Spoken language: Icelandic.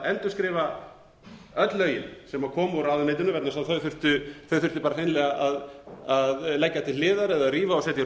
endurskrifa öll lögin sem kom úr ráðuneytinu vegna þess að þau þurftu bara hreinlega að leggja til hliðar eða rífa og setja í